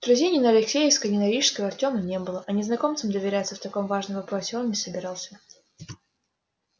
друзей ни на алексеевской ни на рижской у артема не было а незнакомцам доверяться в таком важном вопросе он не собирался